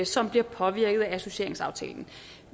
som bliver påvirket af associeringsaftalen